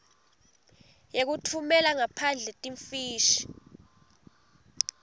yekutfumela ngaphandle timfishi